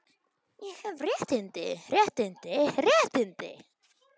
Er leikurinn ekki stoppaður þegar svona kemur fyrir?